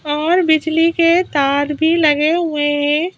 और बिजली के तार भी लगे हुए हैं।